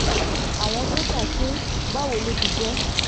àwọn sójà ké báwo ló ti jẹ́